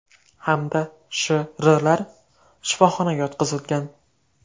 hamda Sh.R.lar shifoxonaga yotqizilgan.